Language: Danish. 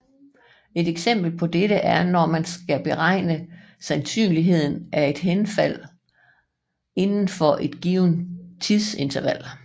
Et eksempel på dette er når man skal beregne sandsynligheden for et henfald inden for et givent tidsinterval